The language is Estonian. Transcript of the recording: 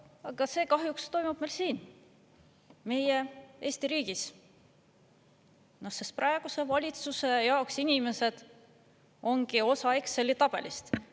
Aga see kahjuks toimub meil siin, Eesti riigis, sest praeguse valitsuse jaoks inimesed ongi osa Exceli tabelist.